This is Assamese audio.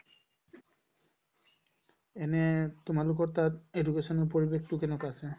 এনে তোমালোকৰ তাত education ৰ পৰিৱেশতো কেনেকুৱা আছে ?